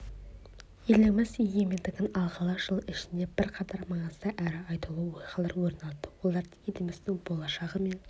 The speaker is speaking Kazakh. еліміз егемендігін алғалы жыл ішінде бірқатар маңызды әрі айтулы оқиғалар орын алды олардың еліміздің болашағы мен